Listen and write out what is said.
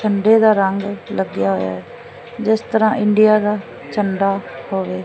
ਝੰਡੇ ਦਾ ਰੰਗ ਲੱਗਿਆ ਹੋਇਆ ਐ ਜਿਸ ਤਰ੍ਹਾਂ ਇੰਡੀਆ ਦਾ ਝੰਡਾ ਹੋਵੇ।